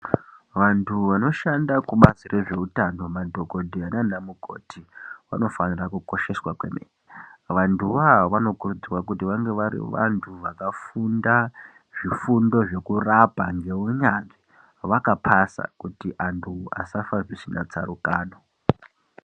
Vantu vanoshande kubazi rwezveutano madhokoteya nana mukoti vanofanira kukosheswa kwemene .Vantuvo avo vanokurudzirwa kuti vange vari vantu vakafunda zvifundo zvekurapa neunyanzvi ,vakapasa kuti vantu vasafa zvisina tsarukano.